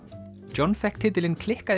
John fékk titilinn klikkaði